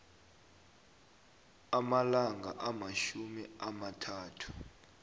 amalanga amatjhumi amathathu